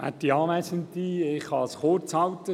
Ich kann es kurz machen;